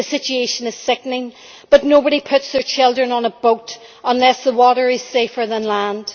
The situation is sickening, but nobody puts their children on a boat unless the water is safer than land.